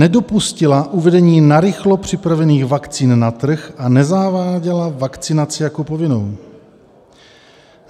- Nedopustila uvedení narychlo připravených vakcín na trh a nezaváděla vakcinaci jako povinnou.